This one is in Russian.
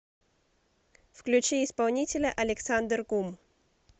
включи исполнителя александр гум